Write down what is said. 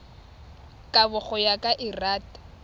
kabo go ya ka lrad